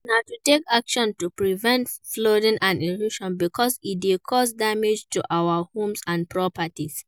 Na to take action to prevent flooding and erosion because e dey cause damage to our homes and properties.